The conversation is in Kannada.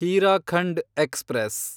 ಹೀರಾಖಂಡ್ ಎಕ್ಸ್‌ಪ್ರೆಸ್